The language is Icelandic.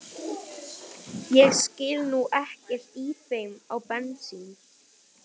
Ég skil nú ekkert í þeim á bensín